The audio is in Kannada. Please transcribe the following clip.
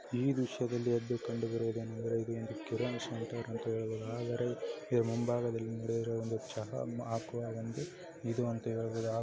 ಈ ದೃಶ್ಯದಲ್ಲಿ ಎದ್ದು ಕೊಂದುಗರು ಆದರೆ ಈ ಮುಂಭಾಗದಲ್ಲಿ ನಡೆಯುವರು ಒಂದು ಚಹಾ --